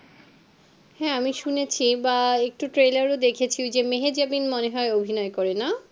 হ্যাঁ আমি শুনেছি বা একটু trailer দেখেছি ওই যে মেহেজাবিন মনে হয় অভিনয় করে না